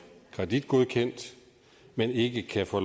kreditgodkendt men ikke kan få